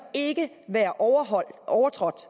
ikke være overtrådt